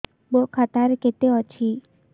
ମୋ ଖାତା ରେ କେତେ ଅଛି